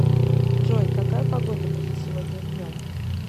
джой какая погода будет сегодня днем